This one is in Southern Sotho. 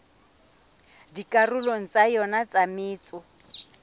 dikarolong tsa yona tsa metso